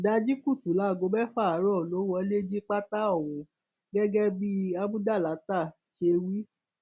ìdajì kùtù láago mẹfà àárọ ló wọlé jí pátá ohun gẹgẹ bí amúdàláta ṣe wí